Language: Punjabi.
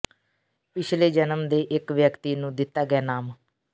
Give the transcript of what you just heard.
ਪਿਛਲੇ ਜਨਮ ਦੇ ਇਕ ਵਿਅਕਤੀ ਨੂੰ ਦਿੱਤਾ ਗਿਆ ਨਾਮ